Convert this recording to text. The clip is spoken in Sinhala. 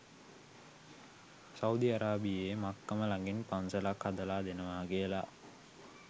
සෞදි අරාබියේ මක්කම ලගින් පන්සලක් හදල දෙනවා කියල ?